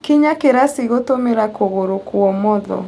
Kinya kĩraci gũtũmĩra kũgũrũ kwa ũmotho.